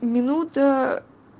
минута